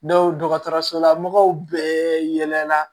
dɔgɔtɔrɔsola mɔgɔw bɛɛ yɛlɛ la